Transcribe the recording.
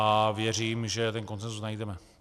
A věřím, že ten konsenzus najdeme.